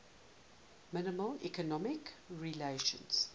minimal economic regulations